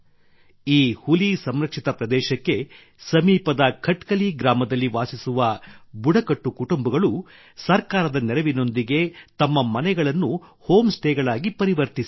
ಈ ಹುಲಿ ಸಂರಕ್ಷಿತ ಪ್ರದೇಶದ ಸಮೀಪದ ಖಟ್ಕಲಿ ಗ್ರಾಮದಲ್ಲಿ ವಾಸಿಸುವ ಬುಡಕಟ್ಟು ಕುಟುಂಬಗಳು ಸರ್ಕಾರದ ನೆರವಿನೊಂದಿಗೆ ತಮ್ಮ ಮನೆಗಳನ್ನು ಹೋಮ್ ಸ್ಟೇಗಳಾಗಿ ಪರಿವರ್ತಿಸಿವೆ